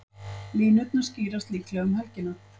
Línurnar skýrast líklega um helgina.